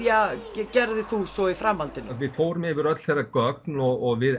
gerðir þú svo í framhaldinu við fórum yfir öll þeirra gögn og við